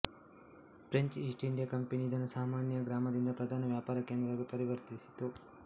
French East India company ಇದನ್ನು ಸಾಮಾನ್ಯ ಗ್ರಾಮದಿಂದ ಪ್ರಧಾನ ವ್ಯಾಪಾರ ಕೇಂದ್ರವಾಗಿ ಪರಿವರ್ತಿಸಿತು